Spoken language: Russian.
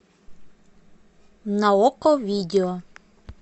на окко видео